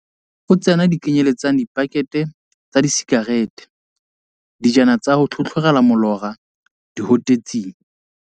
0Tsena di kenyeletsa dipakethe tsa disika rete, dijananyana tsa ho tlhotlhorela molora, dihotetsi.